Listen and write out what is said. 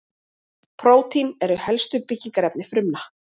prótínin eru helstu byggingarefni frumna